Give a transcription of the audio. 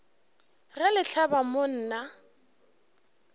ge le hlaba mo nna